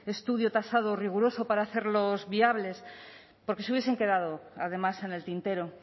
estudio tasado riguroso para hacerlos viables porque se hubiesen quedado además en el tintero